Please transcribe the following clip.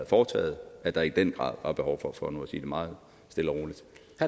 foretaget at der i den grad er behov for det for nu at sige det meget stille og roligt